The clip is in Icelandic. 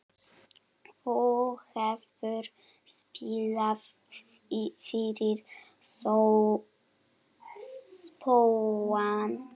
Þú hefur spilað fyrir spóann?